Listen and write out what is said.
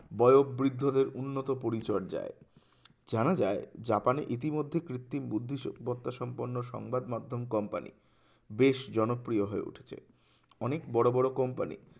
বয়ো বৃদ্ধদের উন্নত পরিচর্যায় জানা যায় জাপানে ইতিমধ্যে কৃত্রিম বুদ্ধি শো বার্তা সম্পন্ন সংবাদ মাধ্যম company বেশ জনপ্রিয় হয়ে উঠেছে অনেক বোরো বোরো company